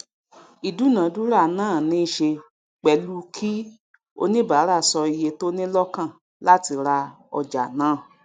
ìdúnàńdúrà náà níṣe pẹlu kí oníbáàrà sọ iye tó ní lọkàn láti ra ọjà náà